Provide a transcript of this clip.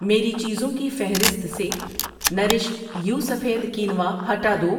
میری چیزوں کی فہرست سے نرش یو سفید کینوا ہٹا دو۔